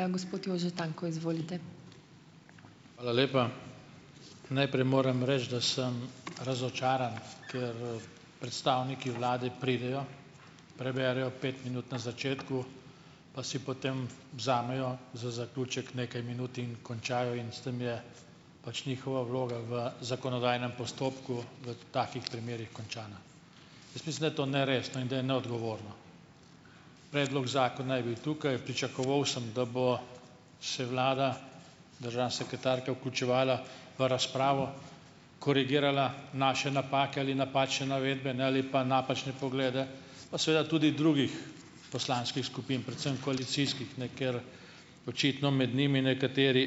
Hvala lepa! Najprej moram reči, da sem razočaran, ker, predstavniki vlade pridejo, preberejo pet minut na začetku pa si potem vzamejo za zaključek nekaj minut in končajo in s tem je pač njihova vloga v zakonodajnem postopku, v takih primerih končana. Jaz mislim, da je to neresno in da je neodgovorno. Predlog zakona je bil tukaj, pričakoval sem, da bo se vlada, državna sekretarka, vključevala v razpravo, korigirala naše napake ali napačne navedbe, ne, ali pa napačne poglede, pa seveda tudi drugih poslanskih skupin, predvsem koalicijskih, ne, ker očitno med njimi nekateri